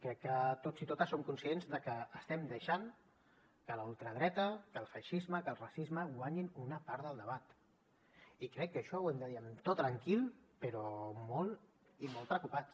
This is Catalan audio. crec que tots i totes som conscients de que estem deixant que la ultradreta que el feixisme que el racisme guanyin una part del debat i crec que això ho hem de dir amb to tranquil però molt i molt preocupats